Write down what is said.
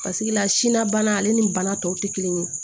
Paseke la sina bana ale ni bana tɔw tɛ kelen ye